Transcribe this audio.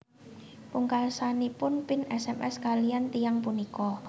Pungkasanipun Pin sms kaliyan tiyang punika